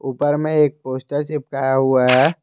उपर में एक पोस्टर चिपकाया हुआ है।